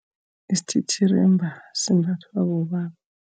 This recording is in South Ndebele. Isithithirimba simbathwa bobaba.